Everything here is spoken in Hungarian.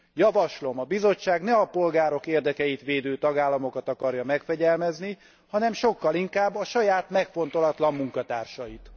Javaslom, a Bizottság ne a polgárok érdekeit védő tagállamokat akarja megfegyelmezni, hanem sokkal inkább a saját megfontolatlan munkatársait.